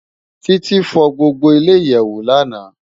Titi fò gbógbó ile iyèwó làná